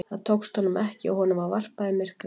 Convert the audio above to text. Það tókst honum ekki og honum var varpað í myrkrið.